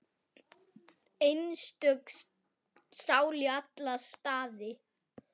Einstök sál í alla staði.